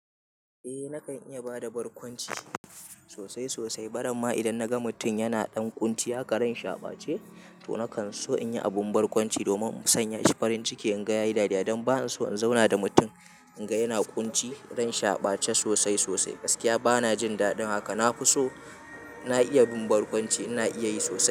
Eh nakan iya bada barkwanci sosai sosai. Barama idan naga mutum yana ɗan ƙunci, haka ran shi a ɓace to nakan so in yi abun barkwanci domin in sanya shi farin ciki in ga yayi dariya. Dan ba zan so in zauna da mutum in ga yana ƙunci, ran shi a ɓace sosai sosai. Gaskiya bana jin daɗin haka. Na fi so na iya bin barkwanci, ina iya yi sosai.